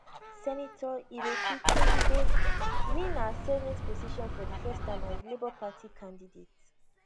senator ireti kingibe win her senate position for di first time as labour party candidate